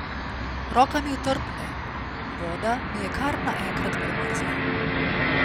Roka mi otrpne, voda mi je kar naenkrat premrzla.